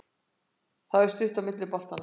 Það er svo stutt á milli í boltanum.